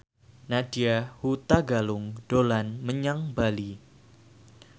Nadya Hutagalung dolan menyang Bali